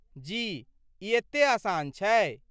जी, ई एते आसान छै।